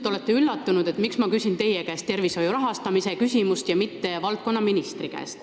Te olete ilmselt üllatunud, miks ma küsin teie käest tervishoiu rahastamise kohta, miks ma ei küsi seda valdkonnaministri käest.